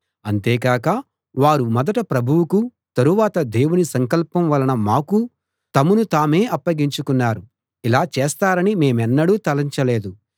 అంతేకాక వారు మొదట ప్రభువుకూ తరువాత దేవుని సంకల్పం వలన మాకూ తమను తామే అప్పగించుకున్నారు ఇలా చేస్తారని మేమెన్నడూ తలంచలేదు